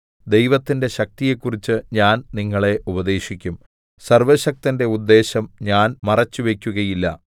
ദൈവത്തിന്റെ ശക്തിയെക്കുറിച്ച് ഞാൻ നിങ്ങളെ ഉപദേശിക്കും സർവ്വശക്തന്റെ ഉദ്ദേശം ഞാൻ മറച്ചുവയ്ക്കുകയില്ല